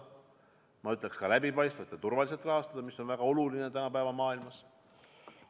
Ja ma ütleksin, just nimelt läbipaistvalt ja turvaliselt rahastada, mis on väga oluline tänapäeva maailmas.